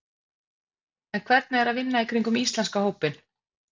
En hvernig er að vinna í kringum íslenska hópinn?